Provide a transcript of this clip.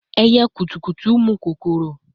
Ẹyẹ kutukutu mu kokoro